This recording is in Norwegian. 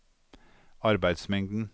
arbeidsmengden